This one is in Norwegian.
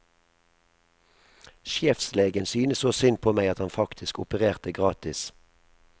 Sjefslegen syntes så synd på meg at han faktisk opererte gratis.